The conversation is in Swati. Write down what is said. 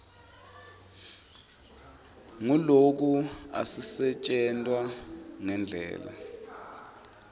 nguloku asisetjentwa ngendlela